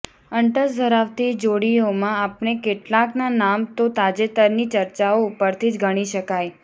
અંટસ ધરાવતી જોડીઓમાં આપણે કેટલાંકના નામ તો તાજેતરની ચર્ચાઓ ઉપરથી જ ગણી શકાય